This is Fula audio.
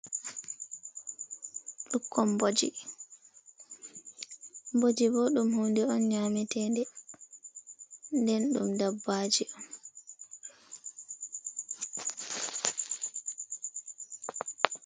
Ɓukkon mboji: Mboji bo ɗum hunde on nyametede, nden ɗum dabbaji.